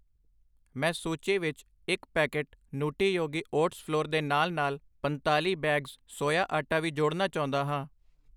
ਮੈਂ ਸੂਚੀ ਵਿੱਚ ਇੱਕ packet Nutty Yogi oats flour ਦੇ ਨਾਲ ਨਾਲ ਪੰਤਾਲੀ ਬੈਗਜ਼ ਸੋਇਆ ਆਟਾ ਵੀ ਜੋੜਨਾ ਚਾਉਂਦਾ ਹਾਂ I